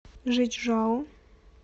жичжао